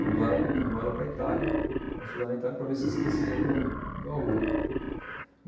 Mandou ela, mandou ela para a Itália, para estudar na Itália, para ver se esquecia meu meu avô.